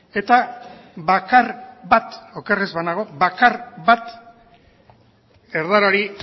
eta bakar bat oker ez banago bakar bat erdarari